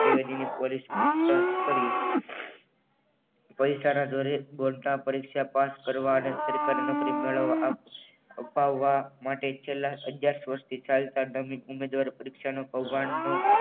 પૈસાના જોડે બોર્ડના પરીક્ષા પાસ કરવા અને સરકારી નોકરી મેળવવા અપાવવા માટે છેલ્લા દસ વર્ષથી ચાલતા ડામી ઉમેદવાર પરીક્ષાનો કૌભાંડનો